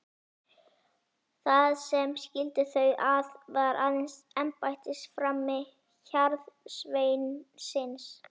Það sem skildi þau að var aðeins embættisframi hjarðsveinsins.